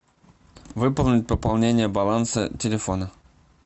выполнить пополнение баланса телефона